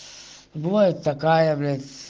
бывает такая блять